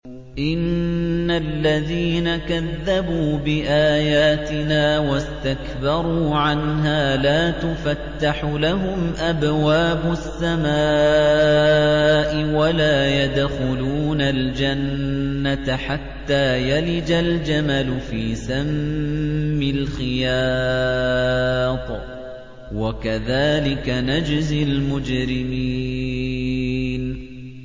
إِنَّ الَّذِينَ كَذَّبُوا بِآيَاتِنَا وَاسْتَكْبَرُوا عَنْهَا لَا تُفَتَّحُ لَهُمْ أَبْوَابُ السَّمَاءِ وَلَا يَدْخُلُونَ الْجَنَّةَ حَتَّىٰ يَلِجَ الْجَمَلُ فِي سَمِّ الْخِيَاطِ ۚ وَكَذَٰلِكَ نَجْزِي الْمُجْرِمِينَ